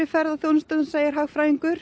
ferðaþjónustuna segir hagfræðingur